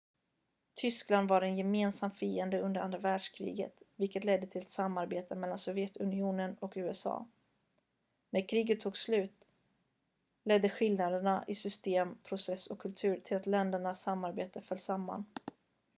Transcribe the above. tyskland var en gemensam fiende under andra världskriget vilket ledde till ett samarbete mellan sovjetunionen och usa när kriget tog slut ledde skillnaderna i system process och kultur till att ländernas samarbete föll samman